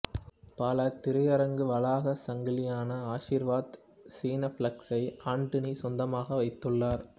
பலதிரையரங்கு வளாகச் சங்கிலியான ஆசிர்வாத் சினிப்ளெக்ஸ்ஸை ஆண்டனி சொந்தமாக வைத்துள்ளார்